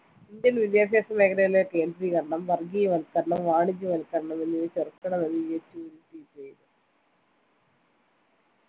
Indian വിദ്യാഭ്യാസമേഖലയിലെ കേന്ദ്രീകരണം വർഗീയവൽക്കരണം വാണിജ്യവൽക്കരണം എന്നിവയെ ചെറുക്കണം എന്ന് യെച്ചൂരി tweet ചെയ്തു